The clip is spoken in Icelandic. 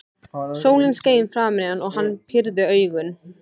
Sólin skein framan í hann og hann pírði augun.